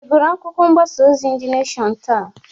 Ị gụrụ akwụkwọ mgbasa ozi De Neshọn taa?